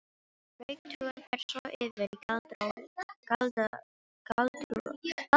Draugatrúin fer svo yfir í galdratrú og svoleiðis.